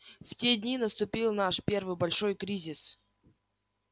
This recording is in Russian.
в те дни наступил наш первый большой кризис